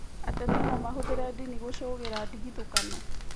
Ateti no mahũthĩre ndini gũcũgĩra ndigithũkano